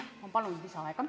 Ma palun lisaaega!